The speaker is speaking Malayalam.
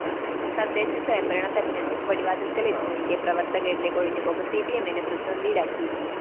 തദ്ദേശസ്വയംഭരണ തെരഞ്ഞെടുപ്പ് പടിവാതിക്കല്‍ എത്തിനില്‍ക്കെ പ്രവര്‍ത്തകരിലെ കൊഴിഞ്ഞുപോക്ക് സിപിഎമ്മിനെ പ്രതിസന്ധിയിലാക്കി